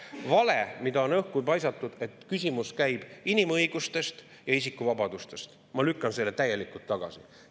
Vale, mida on õhku paisatud, et käib inimõigustest ja isikuvabadustest, lükkan ma täielikult tagasi.